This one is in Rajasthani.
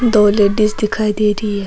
दो लेडीज दिखाई दे रही है।